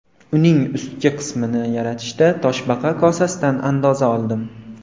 Uning ustki qismini yaratishda toshbaqa kosasidan andoza oldim.